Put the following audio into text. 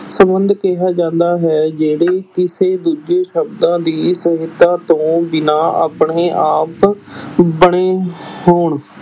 ਸੰਬੰਧ ਕਿਹਾ ਜਾਂਦਾ ਹੈ ਜਿਹੜੇ ਕਿਸੇ ਦੂਜੇ ਸ਼ਬਦਾਂ ਦੀ ਸਹਾਇਤਾ ਤੋਂ ਬਿਨਾਂ ਆਪਣੇ ਆਪ ਬਣੇ ਹੋਣ